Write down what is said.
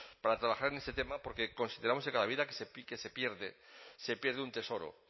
para trabajar en este tema porque consideramos que cada vida que se pierde se pierde un tesoro